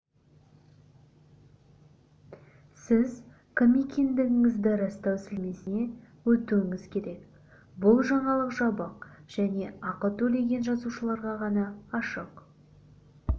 сіз кім екендігіңізді растау сілтемесіне өтуіңіз керек бұл жаңалық жабық және ақы төлеген жазылушыларға ғана ашық